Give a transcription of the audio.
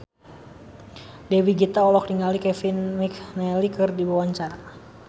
Dewi Gita olohok ningali Kevin McNally keur diwawancara